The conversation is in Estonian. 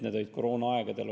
See oli koroonaaegadel.